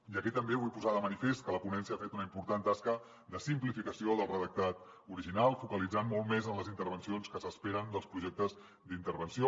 i aquí també vull posar de manifest que la ponència ha fet una important tasca de simplificació del redactat original focalitzant lo molt més en les intervencions que s’esperen dels projectes d’intervenció